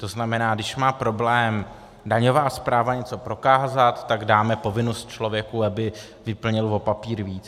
To znamená, když má problém daňová správa něco prokázat, tak dáme povinnost člověku, aby vyplnil o papír víc.